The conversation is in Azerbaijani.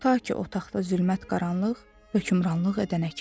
Ta ki otaqda zülmət qaranlıq hökmranlıq edənə kimi.